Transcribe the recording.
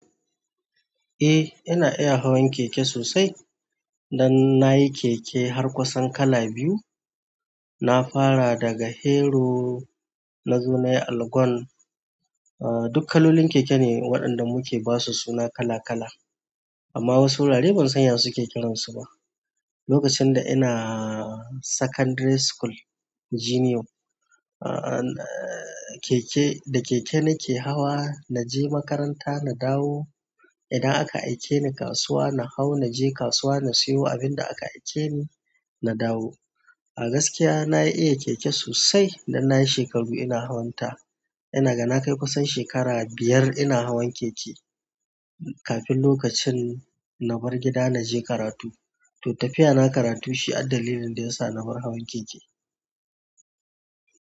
Eh, ina iya hawan keke sosai. Nan nayi keke har kusan kala biyu na fara daga Hero na zo nayi Allgon. Ahh, duk kalolin keke ne waɗanda muke basu suna kala kala. Amma wasu wurarai ban san ya suke kiransu ba. Lokacin da inaaa secondary school junior, ahhh keke, da keke nake hawa. Na je makaranta na dawo. Idan aka aike ni kasuwa na hau na je kasuwa na siyo abin da aka aike ni, na dawo. A gaskiya na iya keke sosai. Dan nayi shaikaru ina hawanta ina ga na kai kusan shekara biyar ina hawan keke kafin lokacin na bar gida na je karatu. To tafiya na karatu shi addalilin da ya sa na bar hawan keke.